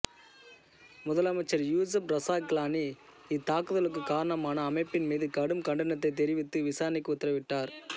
முதலமைச்சர் யூசஃப் ரசா கிலானி இத்தாக்குதலுக்கு காரணமான அமைப்பின் மீது கடும் கண்டனத்தைத் தெரிவித்து விசாரணைக்கு உத்தரவிட்டார்